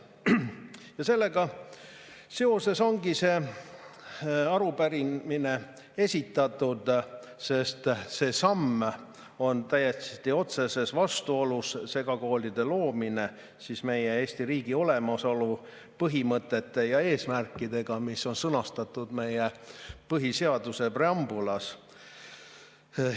Ja sellega seoses ongi see arupärimine esitatud, sest see samm on täiesti otseses vastuolus – segakoolide loomine siis – meie Eesti riigi olemasolu põhimõtete ja eesmärkidega, mis on sõnastatud meie põhiseaduse preambulis.